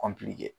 kɔnpilili kɛ